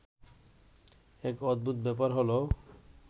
এক অদ্ভুত ব্যাপার হলো